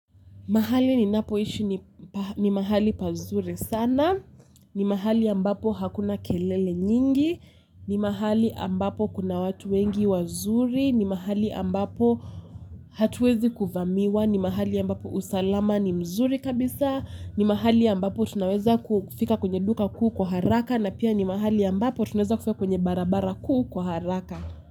Mahali ninapoishi ni mahali pazuri sana, ni mahali ambapo hakuna kelele nyingi, ni mahali ambapo kuna watu wengi wazuri, ni mahali ambapo hatuwezi kuvamiwa, ni mahali ambapo usalama ni mzuri kabisa, ni mahali ambapo tunaweza kufika kwenye duka kuu kwa haraka, na pia ni mahali ambapo tunaweza kufika kwenye barabara kuu kwa haraka.